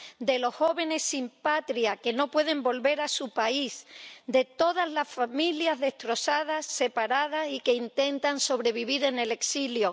de los jóvenes sin patria que no pueden volver a su país de todas la familias destrozadas, separadas y que intentan sobrevivir en el exilio